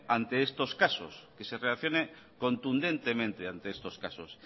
ante estos casos que se reaccione contundentemente ante estos casos